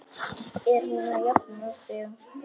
Er hún að jafna sig?